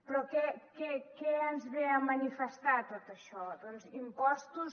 però què ens ve a manifestar tot això doncs impostos